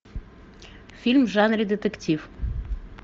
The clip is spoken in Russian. фильм в жанре детектив